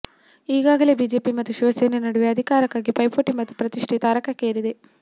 ಈಗಾಗಲೇ ಬಿಜೆಪಿ ಮತ್ತು ಶಿವಸೇನೆ ನಡುವೆ ಅಧಿಕಾರಕ್ಕಾಗಿ ಪೈಪೋಟಿ ಮತ್ತು ಪ್ರತಿಷ್ಠೆ ತಾರಕಕ್ಕೇರಿದೆ